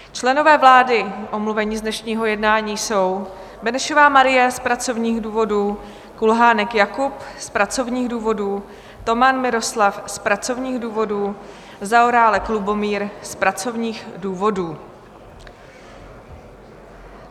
Členové vlády omluvení z dnešního jednání jsou: Benešová Marie z pracovních důvodů, Kulhánek Jakub z pracovních důvodů, Toman Miroslav z pracovních důvodů, Zaorálek Lubomír z pracovních důvodů.